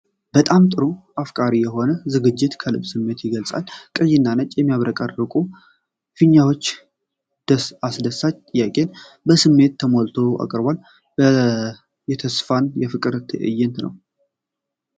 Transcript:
በጣም ጥሩ! አፍቃሪ የሆነው ዝግጅት ከልብ ስሜትን ይገልጻል። ቀይና ነጭ የሚያብረቀርቁ ፊኛዎች አስደሳች ጥያቄን በስሜት ተሞልቶ ያቀርባሉ። የተስፋና የፍቅር ትዕይንት ነው!